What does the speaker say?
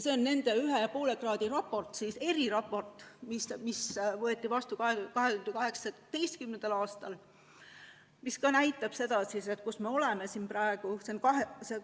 See on nende nn 1,5 kraadi raport, eriraport, mis võeti vastu 2018. aastal ja mis ka näitab seda, kus me praegu oleme.